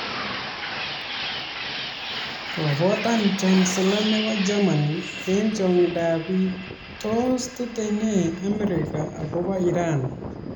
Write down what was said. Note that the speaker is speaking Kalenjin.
Kobotan Kansela nebo Germany eng chong'indab biik . Tos tetei nee Amerika akobo Iran ?